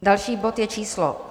Další bod je číslo